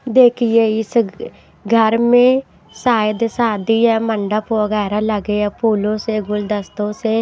देखिए इस घर में सायद सादि है मंडप वगैरह लगे हैं फूलों से गुलदस्तों से--